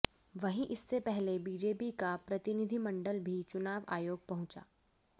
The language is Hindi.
वहीं इससे पहले बीजेपी का प्रतिनिधिमंडल भी चुनाव आयोग पहुंचा